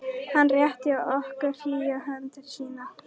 Hann rétti okkur hlýja hönd sína.